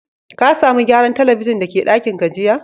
Ka samu gyaran telibijin da ke dakin ka jiya?